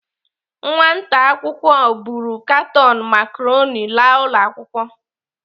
Nwata akwụkwọ buru katon macaroni laa ụlọ akwụkwọ.